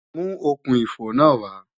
Mú okùn-ìfò náà wá!